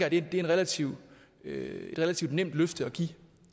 at det er et relativt relativt nemt løfte at give